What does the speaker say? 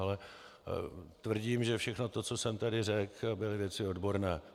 Ale tvrdím, že všechno to, co jsem tady řekl, byly věci odborné.